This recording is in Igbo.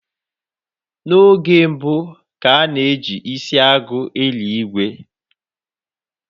N'oge mbu, ka a na ji isi agụ eli ìgwè